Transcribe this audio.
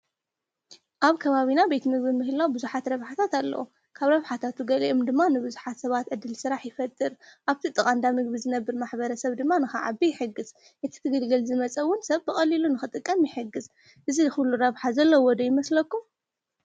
አብ ከባቢና ቤት ምግቢ ምህላው ቡዙሓት ረብሓታት አለዎ፡፡ ካብ ረብሓታት ንገሊኦም ድማ ንቡዙሓት ሰባት ዕድል ስራሕ ይፈጥር፡፡ አብቲ ጥቃ እንዳ ምግቢ ዝነብር ማሕበረሰብ ድማ ንክዓቢ ይሕግዝ፡፡ እቲ ክግልገል ዝመፀ እውን ሰብ ብቀሊሉ ንክጥቀም ይሕግዝ፡፡ እዚ ዝኩሉ ረብሓ ዘለዎ ዶ ይመስለኩም?